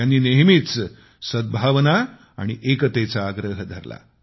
त्यांनी नेहमीच सद्भावना आणि एकतेचा आग्रह धरला